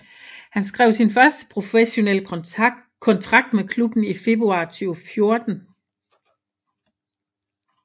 Han skrev sin første professionelle kontrakt med klubben i februar 2014